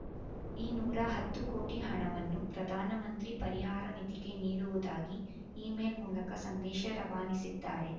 ಈ ನೂರ ಹತ್ತು ಕೋಟಿ ಹಣವನ್ನು ಪ್ರಧಾನ ಮಂತ್ರಿ ಪರಿಹಾರ ನಿಧಿಗೆ ನೀಡುವುದಾಗಿ ಇಮೇಲ್ ಮೂಲಕ ಸಂದೇಶ ರವಾನಿಸಿದ್ದಾರೆ